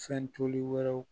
Fɛn toli wɛrɛw